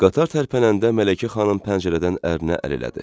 Qatar tərpənəndə Mələkə xanım pəncərədən ərinə əl elədi.